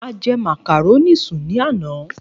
A jẹ màkàrónì sùn ní àná.